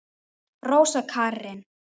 Rósa Karin.